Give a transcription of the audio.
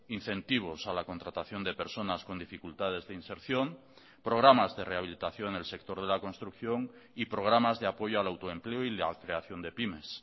incentivos a la contratación de personas con dificultades de inserción programas de rehabilitación en el sector de la construcción y programas de apoyo al autoempleo y la creación de pymes